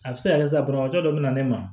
A bɛ se ka kɛ sisan banabagatɔ dɔ bɛna ne ma